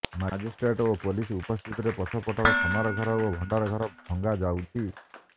magistrate ଓ police ଉପସ୍ଥିତିରେ ପଛପଟର ଖମାର ଘର ଓ ଭଣ୍ଡାର ଘର ଭଙ୍ଗା ଯାଉଛି